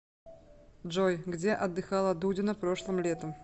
джой где отдыхала дудина прошлым летом